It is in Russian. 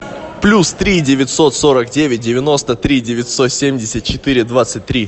плюс три девятьсот сорок девять девяносто три девятьсот семьдесят четыре двадцать три